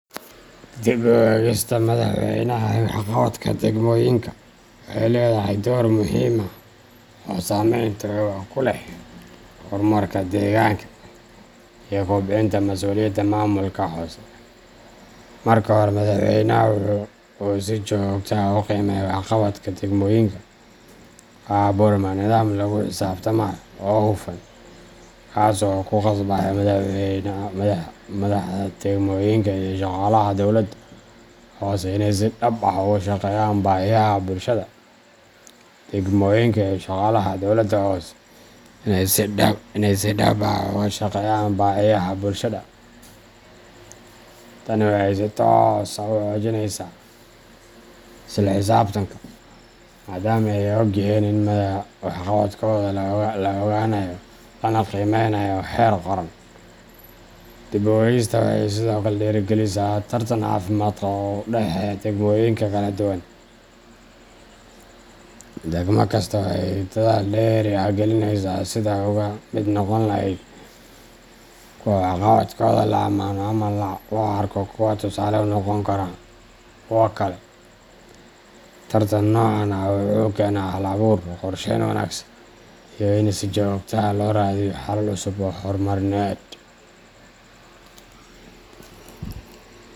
Dib u eegista madaxweynaha ee waxqabadka degmooyinka waxay leedahay door muhiim ah oo saameyn togan ku leh horumarka deegaanka iyo kobcinta masuuliyadda maamulka hoose. Marka madaxweynaha uu si joogto ah u qiimeeyo waxqabadka degmooyinka, waxaa abuurma nidaam lagu xisaabtamayo oo hufan, kaas oo ku qasbaya madaxda degmooyinka iyo shaqaalaha dowladaha hoose inay si dhab ah uga shaqeeyaan baahiyaha bulshada. Tani waxay si toos ah u xoojinaysaa isla xisaabtanka, maadaama ay og yihiin in waxqabadkooda la ogaanayo lana qiimeynayo heer qaran. Dib u eegistaani waxay sidoo kale dhiirrigelisaa tartan caafimaad qaba oo u dhexeeya degmooyinka kala duwan. Degmo kasta waxay dadaal dheeri ah gelinaysaa sidii ay uga mid noqon lahayd kuwa waxqabadkooda la amaano ama loo arko kuwo tusaale u noqon kara kuwa kale. Tartan noocan ah wuxuu keenaa hal abuur, qorsheyn wanaagsan, iyo in si joogto ah loo raadiyo xalal cusub oo horumarineed.